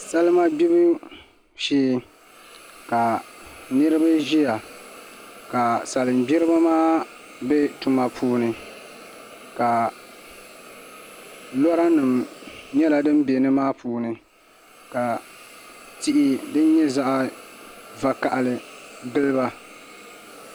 Salima gbibu shee ka niraba ʒiya ka salin gbiribi maa bɛ tuma puuni ka lora nim nyɛla din bɛ nimaa puuni ka tihi din nyɛ zaɣ vakaɣali giliba